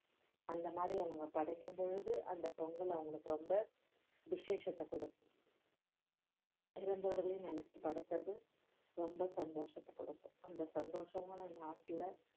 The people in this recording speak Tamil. அந்த மாதிரி அவங்க படைக்கும்பொழுது அந்த பொங்கல் அவங்களுக்கு ரொம்ப விஷேசத்தைக் கொடுக்கும் இரந்தவர்களை நினைச்சு படைக்கிறது ரொம்ப சந்தோஷத்தைக் கொடுக்கும் அந்த சந்தோஷமான நாட்கள்ல